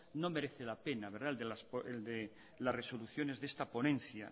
no merece la pena el de las resoluciones de esta ponencia